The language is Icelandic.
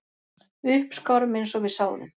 Við uppskárum eins og við sáðum